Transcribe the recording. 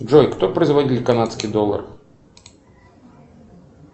джой кто производитель канадский доллар